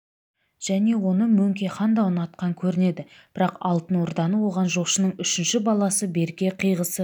және оны мөңке хан да ұнатқан көрінеді бірақ алтын орданы оған жошының үшінші баласы берке қиғысы